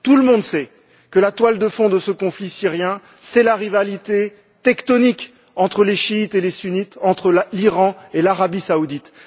Tout le monde sait que la toile de fond de ce conflit syrien, c'est la rivalité tectonique, entre les chiites et les sunnites, entre l'Iran et l'Arabie saoudite.